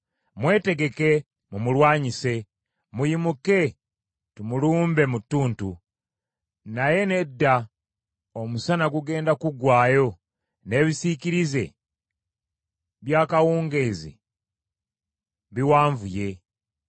“Mwetegeke mumulwanyise! Muyimuke, tumulumbe mu ttuntu! Naye, nedda, omusana gugenda guggwaayo, n’ebisiikirize by’akawungeezi biwanvuye!